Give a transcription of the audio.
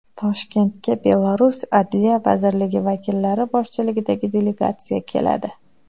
Toshkentga Belarus Adliya vazirligi vakillari boshchiligidagi delegatsiya keladi.